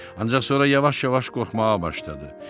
Ancaq sonra yavaş-yavaş qorxmağa başladı.